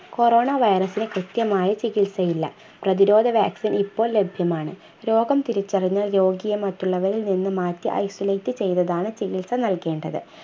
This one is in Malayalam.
corona virus ന് കൃത്യമായ ചികിത്സയില്ല പ്രതിരോധ vaccine ഇപ്പോൾ ലഭ്യമാണ് രോഗം തിരിച്ചറിഞ്ഞാൽ രോഗിയെ മറ്റുള്ളവരിൽ നിന്ന് മാറ്റി isolate ചെയ്തതാണ് ചികിത്സ നൽകേണ്ടത്